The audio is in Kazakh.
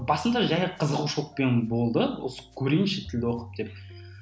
басында жай қызығушылықпен болды осы көрейінші тілді оқып деп